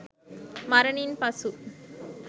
මරණින් පසු